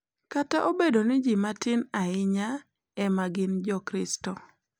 Kata obedo ni ji matin ahinya ema gin jokristo.